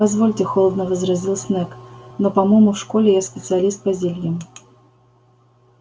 позвольте холодно возразил снегг но по-моему в школе я специалист по зельям